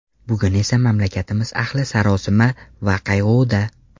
Bugun esa mamlakatimiz ahli sarosima va qayg‘uda.